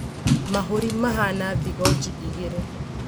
Mahũri mahana thigoji igĩrĩ